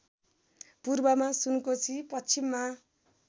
पूर्वमा सुनकोशी पश्चिममा